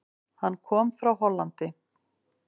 Hann kom frá Hollandi.